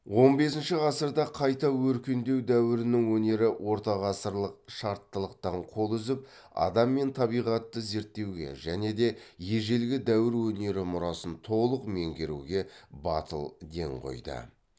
он бесінші ғасырда қайта өркендеу дәуірінің өнері ортағасырлық шарттылықтан қол үзіп адам мен табиғатты зерттеуге және де ежелгі дәуір өнері мұрасын толық меңгеруге батыл ден қойды